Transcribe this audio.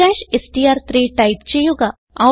str3 type ചെയ്യുക